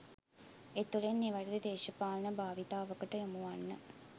එතුළින් නිවැරදි දේශපාලන භාවිතාවකට යොමුවන්න